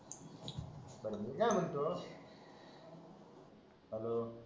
मी काय म्हणतो हॅलो